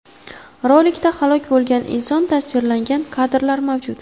Rolikda halok bo‘lgan inson tasvirlangan kadrlar mavjud.